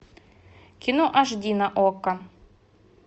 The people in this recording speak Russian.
кино аш ди на окко